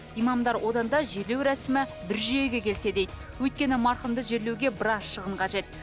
имамдар одан да жерлеу рәсімі бір жүйеге келсе дейді өйткені марқұмды жерлеуге біраз шығын қажет